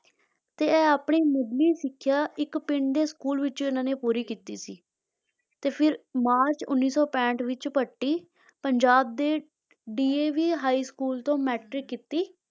ਤੇ ਇਹ ਆਪਣੀ ਮੁਢਲੀ ਸਿੱਖਿਆ ਇੱਕ ਪਿੰਡ ਦੇ school ਵਿੱਚ ਇਹਨਾਂ ਨੇ ਪੂਰੀ ਕੀਤੀ ਸੀ, ਤੇ ਫਿਰ ਮਾਰਚ ਉੱਨੀ ਸੌ ਪੈਂਹਠ ਵਿੱਚ ਪੱਟੀ, ਪੰਜਾਬ ਦੇ DAV high school ਤੋਂ matric ਕੀਤੀ,